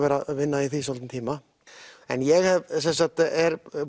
vinna í því í svolítinn tíma en ég er